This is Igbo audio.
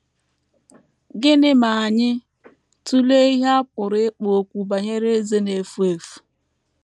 Gịnị ma anyị tụlee ihe a pụrụ ịkpọ okwu banyere eze na - efu efu?